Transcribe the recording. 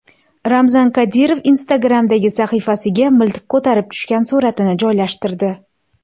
Ramzan Qodirov Instagram’dagi sahifasiga miltiq ko‘tarib tushgan suratini joylashtirdi.